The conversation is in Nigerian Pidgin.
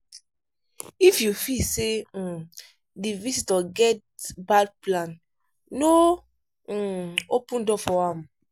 if you feel sey um di visitor get bad plan no um open door for am